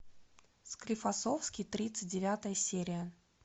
склифосовский тридцать девятая серия